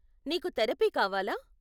నీకు థెరపీ కావాలా?